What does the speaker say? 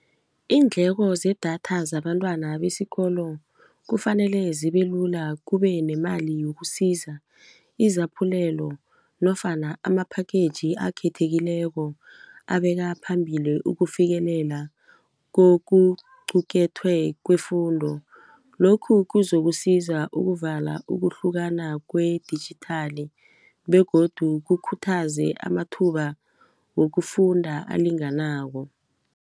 Iindleko zedatha zabantwana besikolo kufanele zibelula kube nemali yokusiza izaphulelo nofana ama-package akhethekileko abeka phambili ukufikelela kokuqukethwe kwefundo lokhu kuzokusiza ukuvala ukuhlukana kwe-digital begodu kukhuthaze amathuba wokufunda alinganako.